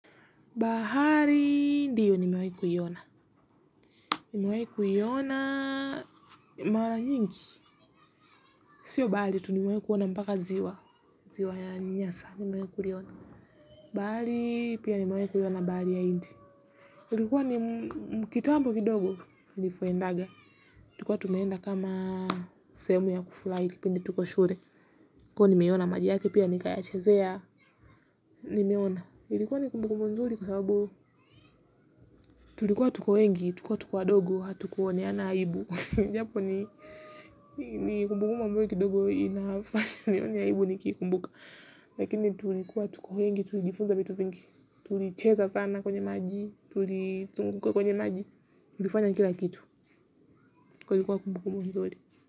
Bahari ndio nimewahi kuiona, nimewahi kuiona mara nyingi, sio bahari tu nimewahi kuona mpaka ziwa, ziwa ya nyasa, nimewahi kuliona, bahari pia nimewahi kuiona bahari ya hindi, ilikuwa ni kitambo kidogo, nipoendanga, tulikuwa tumeenda kama sehemu ya kufurahi kipindi tuko shule, kuwa nimeiona maji yake pia nikayachezea, nimeona, ilikuwa ni kumbukumbu nzuri kwa sababu tulikuwa tuko wengi, tulikuwa tuko wadogo, hatukuoneana, aibu japoni nikikumbuka mambo hayo kidogo inafanya nione aibu nikikumbuka. Lakini tulikuwa tuko wengi tulijifunza vitu vingi. Tulicheza sana kwenye maji tulizunguka kwenye maji, tulifanya kila kitu. Kwa hiyo ilikuwa kumbuka nzuri.